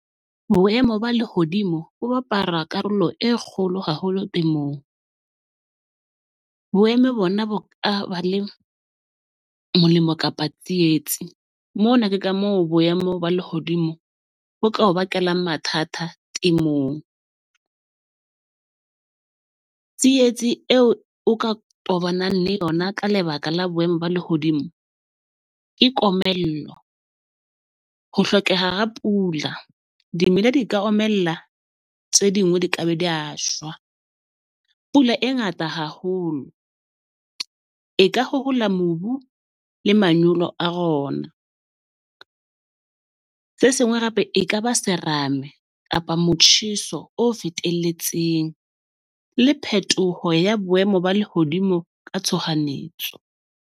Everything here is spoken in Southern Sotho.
Boemo ba lehodimo bo bapala karolo e kgolo haholo temong. Boemo bona bo a ba le molemo kapa tsietsi. Mona ke ka moo boemo ba lehodimo bo ka o bakelang mathata temong . Tsietsi eo o ka tobanang le yona ka lebaka la boemo ba lehodimo ke komello, ho hlokeha ha pula. Dimela di ka omella, tse dingwe di ka be di ya shwa. Pula e ngata haholo e ka mobu le manyolo a . Se sengwe hape, ekaba serame kapa motjheso o fetelletseng, le phetoho ya boemo ba lehodimo ka tshohanyetso.